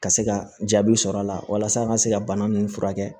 Ka se ka jaabi sɔrɔ a la walasa a ka se ka bana ninnu furakɛ